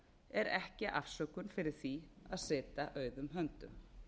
er ekki afsökun fyrir því að sitja auðum höndum